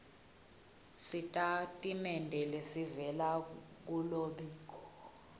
sitatimende lesivela kulombiko